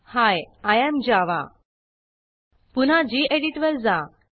ही आय एएम जावा पुन्हा गेडीत वर जा